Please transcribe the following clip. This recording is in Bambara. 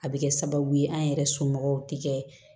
A bɛ kɛ sababu ye an yɛrɛ somɔgɔw tɛ kɛ